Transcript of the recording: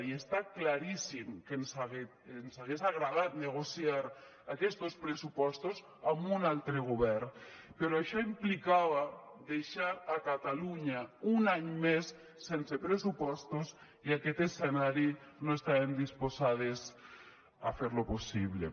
i està claríssim que ens hagués agradat negociar aquestos pressupostos amb un altre govern però això implicava deixar catalunya un any més sense pressupostos i aquest escenari no estàvem disposades a fer lo possible